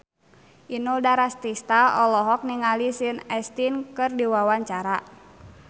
Inul Daratista olohok ningali Sean Astin keur diwawancara